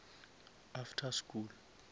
after school